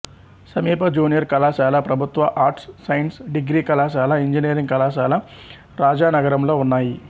సమీప జూనియర్ కళాశాల ప్రభుత్వ ఆర్ట్స్ సైన్స్ డిగ్రీ కళాశాల ఇంజనీరింగ్ కళాశాల రాజానగరంలో ఉన్నాయి